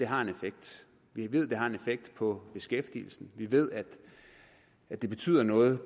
har en effekt vi ved det har effekt på beskæftigelsen vi ved at det betyder noget